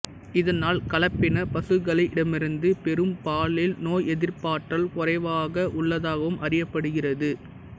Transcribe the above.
இதனால் கலப்பினப் ப்சுக்களிடமிருந்து பெறும் பாலில் நோயெதிற்பாற்றல் குறைவாக உள்ளதாகவும் அறியப்படுகிறது